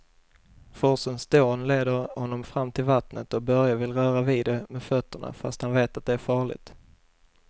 Forsens dån leder honom fram till vattnet och Börje vill röra vid det med fötterna, fast han vet att det är farligt.